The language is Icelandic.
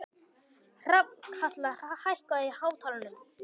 Hrafnkatla, hækkaðu í hátalaranum.